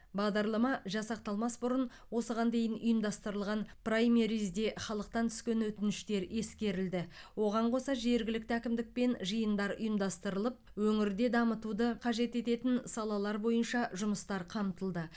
бағдарлама жасақталмас бұрын осыған дейін ұйымдастырылған праймеризде халықтан түскен өтініштер ескерілді оған қоса жергілікті әкімдікпен жиындар ұйымдастырылып өңірде дамытуды қажет ететін салалалар бойынша жұмыстар қамтылды